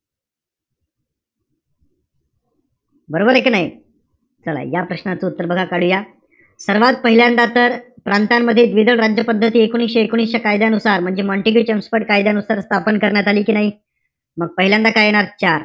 बरोबरय कि नाई? चला या प्रश्नाचं उत्तर बघा काढूया. सर्वात पहिल्यांदा तर प्रांतांमध्ये द्विदल राज्य पद्धत, एकोणविशे एकोणीस च्या कायद्यानुसार म्हणजे मॉन्टेग्यु जेम्सफोर्ड कायद्यानुसार स्थापन करण्यात आली कि नाई? मग पहिल्यांदा काय येणार?